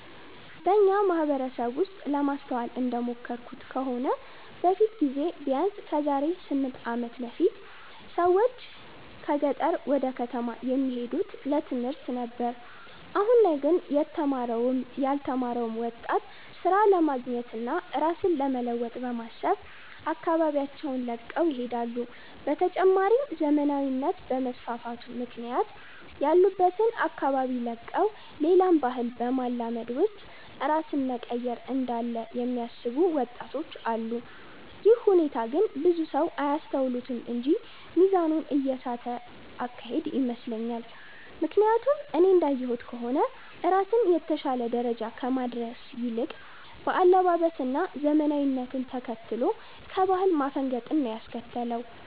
በኛ ማህበረሰብ ውስጥ ለማስተዋል እንደሞከርኩት ከሆነ በፊት ጊዜ ቢያነስ ከዛሬ 8 አመት በፊት ብዙ ሰዎች ከገጠር ወደ ከተማ የሚሄዱት ለትምህርት ነበር አሁን ላይ ግን የተማረውም ያልተማረው ወጣት ስራ ለማግኘት እና ራስን ለመለወጥ በማሰብ አካባቢያቸውን ለቀው ይሄዳሉ። በተጨማሪም ዘመናዊነት በመስፋፋቱ ምክንያት ያሉበትን አካባቢ ለቀው ሌላን ባህል በማላመድ ውስጥ ራስን መቀየር እንዳለ የሚያስቡ ወጣቶች አሉ። ይህ ሁኔታ ግን ብዙ ሰው አያስተውሉትም እንጂ ሚዛኑን የሳተ አካሄድ ይመስለኛል። ምክያቱም እኔ እንዳየሁት ከሆነ ራስን የተሻለ ደረጃ ከማድረስ ይልቅ በአለባበስ እና ዘመናዊነትን ተከትሎ ከባህል ማፈንገጥን ነው ያስከተለው።